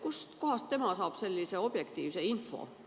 Kustkohast tema saab sellise objektiivse info?